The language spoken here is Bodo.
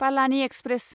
पालानि एक्सप्रेस